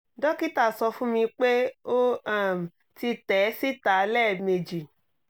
dókítà sọ fún mi pé ó um ti tẹ̀ síta lẹ́ẹ̀mejì